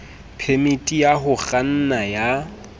phemiti ya ho kganna ya